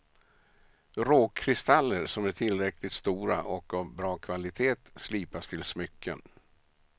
Råkristaller som är tillräckligt stora och av bra kvalitet slipas till smycken.